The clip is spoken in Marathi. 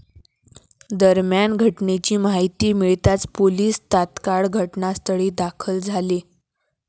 दरम्यान घटनेची माहिती मिळताच पोलीस तात्काळ घटनास्थळी दाखल झाले.